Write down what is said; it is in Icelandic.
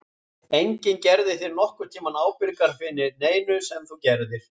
Enginn gerði þig nokkurn tímann ábyrgan fyrir neinu sem þú gerðir.